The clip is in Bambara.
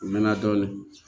U mɛnna dɔɔnin